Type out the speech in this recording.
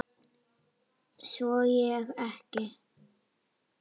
Svo sé ekki.